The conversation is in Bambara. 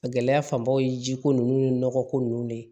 A gɛlɛya fanbaw ye jiko ninnu ni nɔgɔ ko ninnu ne